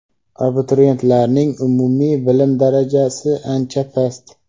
abituriyentlarning umumiy bilim darajasi ancha past.